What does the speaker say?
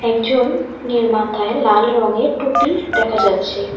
একজন এর মাথায় লাল রঙের টুপি দেখা যাচ্ছে।